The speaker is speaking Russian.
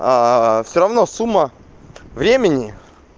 всё равно сумма времени